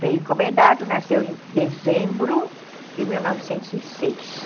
Veio encomendado, nasceu em dezembro de mil novecentos e seis.